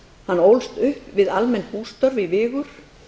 hann ólst upp við almenn bústörf í vigur